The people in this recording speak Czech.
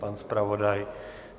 Pan zpravodaj?